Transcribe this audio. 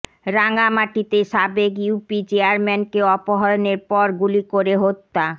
রাঙামাটিতে সাবেক ইউপি চেয়ারম্যানকে অপহরণের পর গুলি করে হত্যা